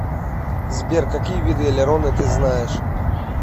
сбер какие виды элероны ты знаешь